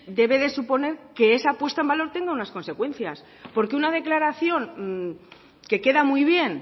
debe de suponer que esa puesta en valor tenga unas consecuencias porque una declaración que queda muy bien